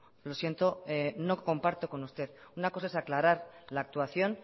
lo siento no comparto con usted una cosa es aclarar la actuación